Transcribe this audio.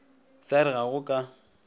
sa re ga go ka